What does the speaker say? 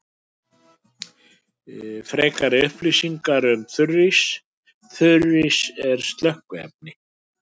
Frekari upplýsingar um þurrís: Þurrís sem slökkviefni.